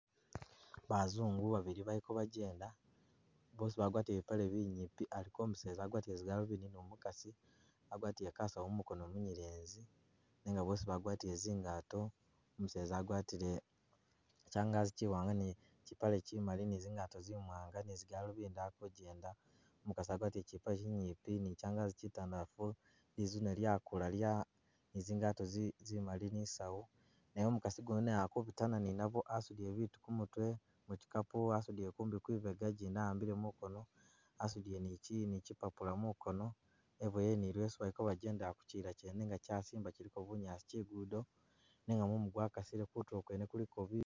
Bazungu babili baliko bajenda bosi bagwatile bipaale binyimpi, aliko umuseza agwatile zigaluvindi nomukaasi agwatile kasawu mumukoono munyelezi, nenga bosi bagwatile tsingato, umuseza agwatile changazi chiwaanga ni chipaale chimali ni zingato zimwaanga ni zigaluvindi ali ku'jenda, umukaasi agwatile chipaale chinyimpi ni changazi chitandalafu lizuune lyakula lya ni zingato zi zimali ni saawu nenga umukaasi gundi naye ali kubitana ni nabo asudile bitu kumutwe muchicapu wa'sudile nkumbi kwibega gindi awambile mukoono, asudile ni chipapula mukoono e'boyele ni leso baliko bajendela kuchiyila chene nenga chasimba chiliko bunyaasi kulugudo nenga mumu gwakasile kutuulo kwene kuliko bi..